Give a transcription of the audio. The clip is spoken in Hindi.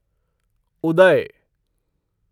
उदय